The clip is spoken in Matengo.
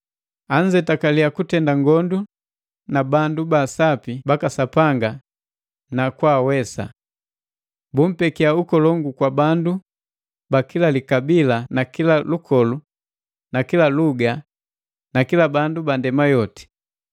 Anzetakaliya kutenda ngondu na bandu ba sapi baka Sapanga na kwaawesa. Bumpekia ukolongu kwa bandu ba kila likabila na kila lukolu na kila luga na kila bandu ba ndema yoti.